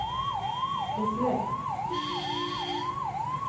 beslöt